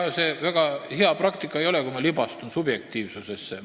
Ega see väga hea praktika ei ole, kui ma subjektiivsusesse libastun.